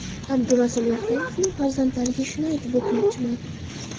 Abdurasul Vahobovning farzandlariga shuni aytib o‘tmoqchiman.